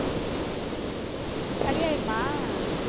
சரி ஆயிருமா